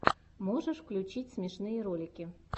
можешь включить смешные ролики